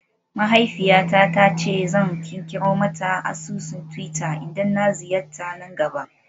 Mahaifiyata ta ce zan kirkiro mata asusun twitter idan na ziyarta na gaba